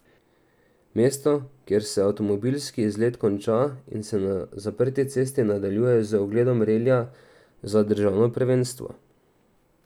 Mesto, kjer se avtomobilski izlet konča in se na zaprti cesti nadaljuje z ogledom relija za državno prvenstvo.